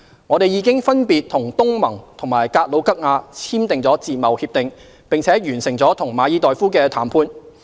我們已經分別與東盟和格魯吉亞簽訂自貿協定，並完成了與馬爾代夫的談判。